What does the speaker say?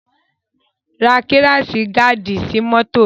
Ra kíráṣì gaàdì sí mọ́tò mi!